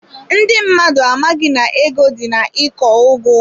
Ndị mmadụ amaghị na ego dị na iko ugu.